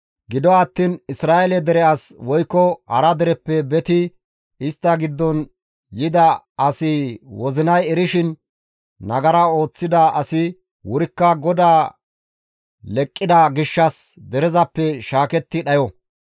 « ‹Gido attiin Isra7eele dere as woykko hara dereppe beti istta giddo yida asi wozinay erishin nagara ooththida asi wurikka GODAA leqqida gishshas derezappe shaaketti dhayo.